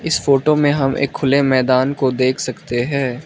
इस फोटो में हम एक खुले मैदान को देख सकते हैं।